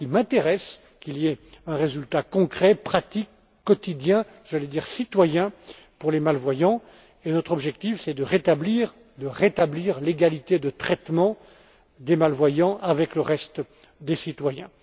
Voilà ce qui m'intéresse qu'il y ait un résultat concret, pratique, quotidien, j'allais dire citoyen, pour les malvoyants, et notre objectif est de rétablir l'égalité de traitement des malvoyants par rapport au reste des citoyens.